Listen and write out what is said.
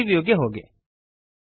3ದ್ ವ್ಯೂಗೆ ಹೋಗಿರಿ